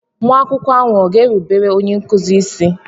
Nwa akwụkwọ ahụ ọ̀ ga-erubere onye nkụzi isi?